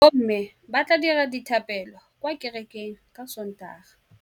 Bommê ba tla dira dithapêlô kwa kerekeng ka Sontaga.